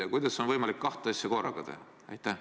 Aga kuidas on võimalik kahte asja korraga teha?